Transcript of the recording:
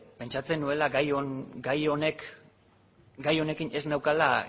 pentsatzen nuela gai honekin ez neukala